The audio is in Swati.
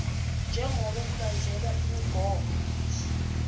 jengobe kulandzelwe imigomo